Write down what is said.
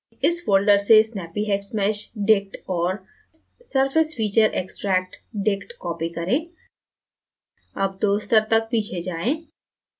इस folder से snappyhexmeshdict और surfacefeatureextractdict copy करें अब दो स्तर तक पीछे जाएँ